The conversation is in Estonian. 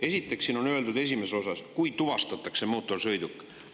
Esiteks, siin on öeldud esimeses osas, et kui tuvastatakse mootorsõiduk.